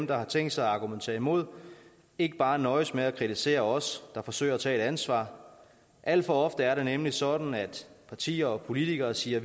der har tænkt sig at argumentere imod ikke bare nøjes med at kritisere os der forsøger at tage et ansvar alt for ofte er det nemlig sådan at partier og politikere siger at